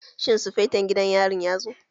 Shin sufeto gidan yarin ya zo?